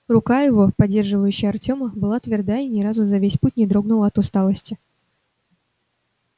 рука его поддерживающая артема была тверда и ни разу за весь путь не дрогнула от усталости